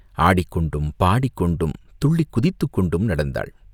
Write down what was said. ஆடிக்கொண்டும், பாடிக்கொண்டும் துள்ளிக் குதித்துக் கொண்டும் நடந்தாள்.